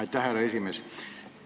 Aitäh, härra esimees!